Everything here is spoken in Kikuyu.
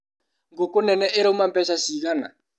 Ngũkũ nene irauma mbeca cigana?